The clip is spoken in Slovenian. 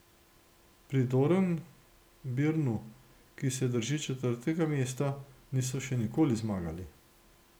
Pri Dornbirnu, ki se drži četrtega mesta, niso še nikoli zmagali.